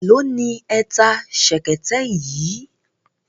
Èló ni ẹ ta ṣẹ̀kẹ̀tẹ̀ yìí?